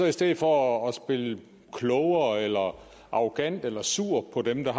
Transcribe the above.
i stedet for at spille klogere eller arrogant eller være sur på dem der